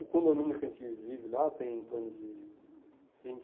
O condomínio que a gente vive lá tem em torno de vinte.